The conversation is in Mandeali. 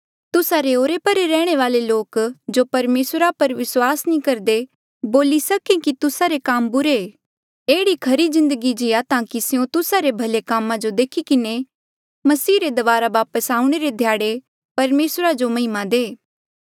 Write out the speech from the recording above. तुस्सा रे ओरे परे रैहणे वाले लोक जो परमेसरा पर विस्वास नी करदे बोली सके कि तुस्सा रे काम बुरे एह्ड़ी खरी जिन्दगी जीया ताकि स्यों तुस्सा रे भले कामा जो देखी किन्हें मसीह रे दबारा वापस आऊणें रे ध्याड़े परमेसरा जो महिमा दे